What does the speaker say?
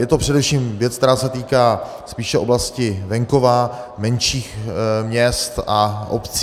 Je to především věc, která se týká spíše oblasti venkova, menších měst a obcí.